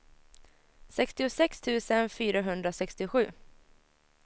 sextiosex tusen fyrahundrasextiosju